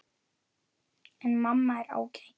En mamma er ágæt.